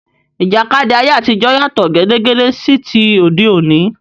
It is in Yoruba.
Ìjàkadì ayé àtijọ́ yàtọ̀ gédégbé sí ti òde òní.